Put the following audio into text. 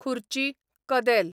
खुर्ची, कदेल